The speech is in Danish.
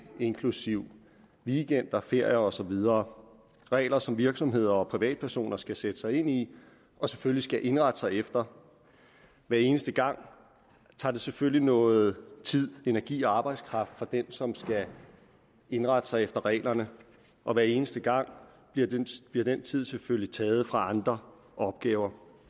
inklusive weekender ferier og så videre regler som virksomheder og privatpersoner skal sætte sig ind i og selvfølgelig skal indrette sig efter hver eneste gang tager det selvfølgelig noget tid energi og arbejdskraft fra den som skal indrette sig efter reglerne og hver eneste gang bliver den tid selvfølgelig taget fra andre opgaver